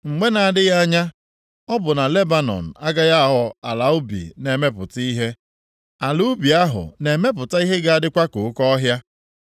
Mgbe na-adịghị anya ọ bụ na Lebanọn agaghị aghọ ala ubi na-emepụta ihe, ala ubi ahụ na-emepụta ihe ga-adịkwa ka oke ọhịa?